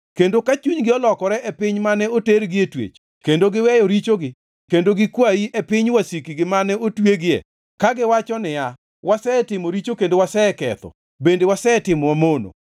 kendo ka chunygi olokore e piny mane otergi e twech kendo giweyo richogi kendo gikwayi e piny wasikgi mane otweyogi kagiwacho niya, ‘Wasetimo richo kendo waseketho bende wasetimo mamono;’